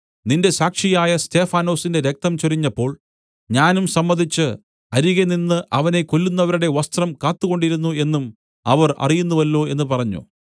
നിന്റെ സാക്ഷിയായ സ്തെഫാനൊസിന്റെ രക്തം ചൊരിഞ്ഞപ്പോൾ ഞാനും സമ്മതിച്ച് അരികെ നിന്ന് അവനെ കൊല്ലുന്നവരുടെ വസ്ത്രം കാത്തുകൊണ്ടിരുന്നു എന്നും അവർ അറിയുന്നുവല്ലോ എന്നു പറഞ്ഞു